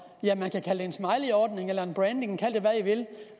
smileyordning eller branding kald det hvad i vil